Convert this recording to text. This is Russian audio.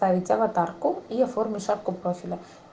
поставить аватарку и оформить шапку профиля